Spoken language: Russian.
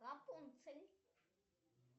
рапунцель